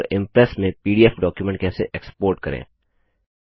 और इंप्रेस में PDF document कैसे एक्स्पोर्ट करें